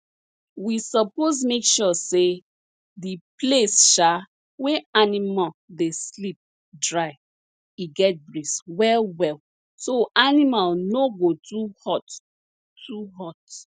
we suppose make sure say di place um wey animal dey sleep dry e get breeze well well so animal no go too hot too hot